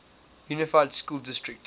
unified school district